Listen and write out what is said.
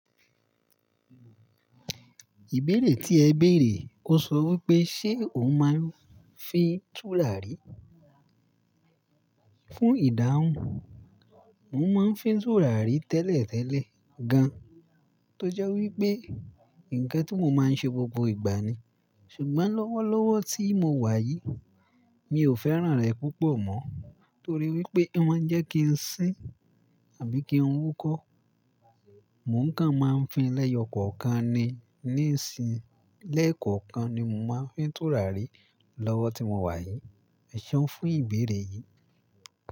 Ìbéèrè tí ẹ béèrè, ó sọ wí pé, ṣe òun máa ń fi tùràrí fún ìdáhùn? Mo máa ń fi tùràrí tẹ́lẹ̀tẹ́lẹ̀ gan, tó jẹ́ wí pé nǹkan ti mo máa ń ṣe gbogbo ìgbà ni. Ṣùgbọ́n lọ́wọ́lọ́wọ́ tí mo wà yìí, mi ò fẹ́ràn rẹ̀ púpọ̀ mọ́, torí wí pé ó máa ń jẹ́ kí n sín àbí kí n wúkọ́. Mò ń kàn máa ń fi lẹ́yọ kọ̀kan ni ní ìsìn, lẹ́ẹ̀kọ̀kan ni mo máa ń fi tùràrí lọ́wọ́ tí mo wà yìí. Ẹ ṣọ fún ìbéèrè yìí.